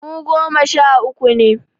Mu goma sha uku ne